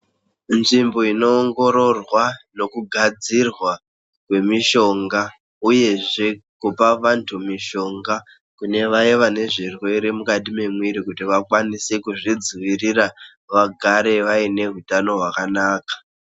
Nzvimbo inoongororwa nekugadzirwa kwemishonga uyezve kupa vantu mishonga kunevaya vanezvirwere mukati memwiri kuti vakwanise kuzvidzivirira vagare vaineutano hwakanaka.